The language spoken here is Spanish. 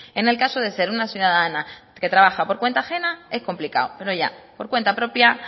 en el caso de ser una ciudadana que trabaja por cuenta ajena es complicado pero ya por cuenta propia